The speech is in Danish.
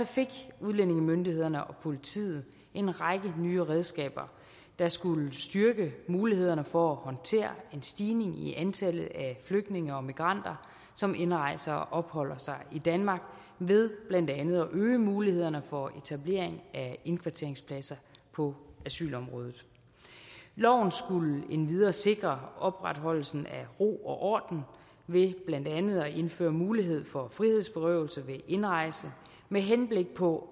fik udlændingemyndighederne og politiet en række nye redskaber der skulle styrke mulighederne for at håndtere en stigning i antallet af flygtninge og migranter som indrejser til og opholder sig i danmark ved blandt andet at øge mulighederne for etablering af indkvarteringspladser på asylområdet loven skulle endvidere sikre opretholdelsen af ro og orden ved blandt andet at indføre mulighed for frihedsberøvelse ved indrejse med henblik på